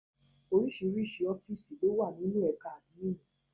Oríṣiríṣi ọ́fìsì lówà ní ẹ̀ka àdmínìì.